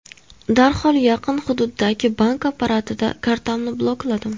Darhol yaqin hududdagi bank apparatida kartamni blokladim.